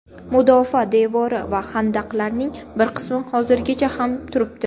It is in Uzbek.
Mudofaa devori va xandaqlarning bir qismi hozirgacha ham turibdi.